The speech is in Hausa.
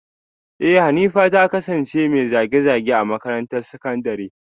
Eh Hanifa ta kasance mai zage-zage a makarantar sakandare